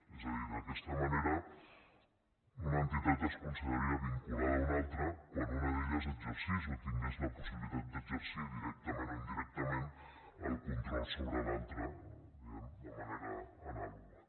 és a dir d’aquesta manera una entitat es consideraria vinculada a una altra quan una d’elles exercís o tingués la possibilitat d’exercir directament o indirectament el control sobre l’altra diguem ne de manera anàloga